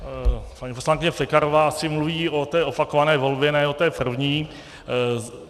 Paní poslankyně Pekarová asi mluví o té opakované volbě, ne o té první.